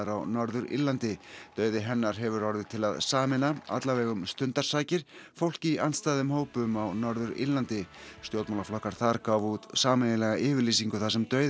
á Norður Írlandi dauði hennar hefur orðið til að sameina allavega um stundarsakir fólk í andstæðum hópum á Norður Írlandi stjórnmálaflokkar þar gáfu út sameiginlega yfirlýsingu þar sem dauði